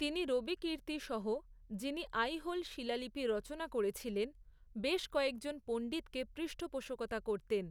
তিনি রবিকীর্ত্তি সহ, যিনি আইহোল শিলালিপি রচনা করেছিলেন, বেশ কয়েকজন পণ্ডিতকে পৃষ্ঠপোষকতা করতেন।